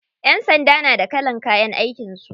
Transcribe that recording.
Ƴan sanda na da kalan kayan aikin su.